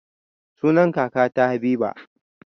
Sunan kakata habiba